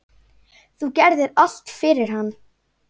Þú gerðir allt fyrir hann.